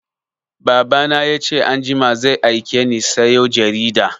Baba na ya ce anjima zai aike ni sayo jarida